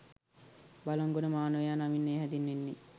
බළන්ගොඩ මානවයා නමින් එය හැඳින්වෙන්නේ